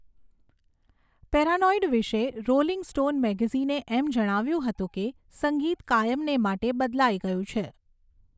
Paranoid વિશે Rolling Stone મેગેઝિને એમ જણાવ્યુંં હતું કે સંગીત કાયમને માટે બદલાઈ ગયું છે.